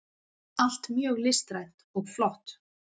allt mjög listrænt og flott.